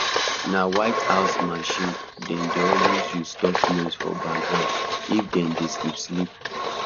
na white house machine dem dey always use stop noise for background if dem dey sleep sleep